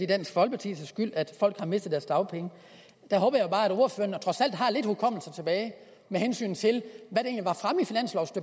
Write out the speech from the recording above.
dansk folkepartis skyld at folk har mistet deres dagpenge der håber jeg bare at ordføreren trods alt har lidt hukommelse tilbage med hensyn til